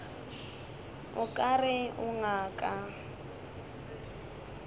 o ka re o ngaka